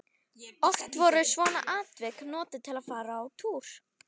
Oft voru svona atvik notuð til að fara á túr.